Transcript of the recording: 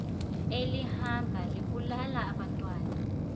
elihamba libulala abantwana